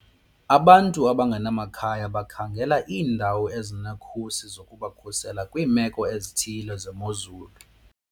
Abantu abangenamakhaya bakhangela iindawo ezinekhusi zokubakhusela kwiimeko ezithile zemozulu.